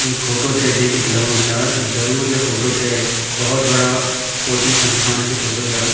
ई photo थे देखिकी लगणु चा जरुर य फोटो कै भौत बड़ा कोचिंग संस्थान की फोटो चा।